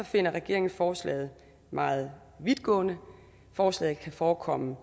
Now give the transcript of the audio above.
finder regeringen forslaget meget vidtgående forslaget kan forekomme